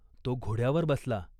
तो घोड्यावर बसला.